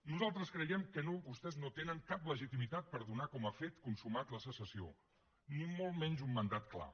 nosaltres creiem que vostès no tenen cap legitimitat per donar com a fet consumat la secessió ni molt menys un mandat clar